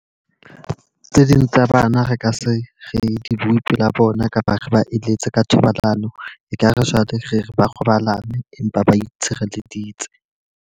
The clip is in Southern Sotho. Tse ding tsa bana re ka se re di butswe la bona kapa re ba eletse ka thobalano. E ka re jwale re re ba robalane empa ba itshireleditse.